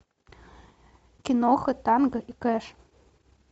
киноха танго и кэш